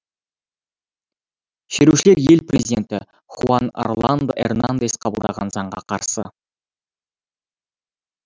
шерушілер ел президенті хуан орландо эрнандес қабылдаған заңға қарсы